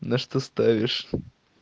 на что ставишь